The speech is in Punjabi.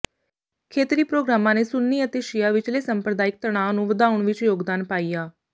ਖੇਤਰੀ ਪ੍ਰੋਗਰਾਮਾਂ ਨੇ ਸੁੰਨੀ ਅਤੇ ਸ਼ੀਆ ਵਿਚਲੇ ਸੰਪਰਦਾਇਕ ਤਣਾਅ ਨੂੰ ਵਧਾਉਣ ਵਿੱਚ ਯੋਗਦਾਨ ਪਾਇਆ